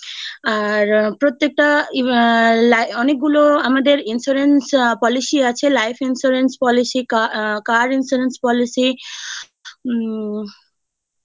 আর প্রত্যেকটা অনেকগুলো আমাদের insurance policy আছে life insurance , policy , car policy উম